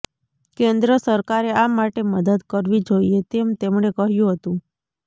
કેન્દ્ર સરકારે આ માટે મદદ કરવી જોઈએ તેમ તેમણે કહ્યું હતું